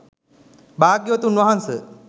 භාග්‍යවතුන් වහන්ස,